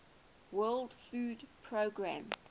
world food programme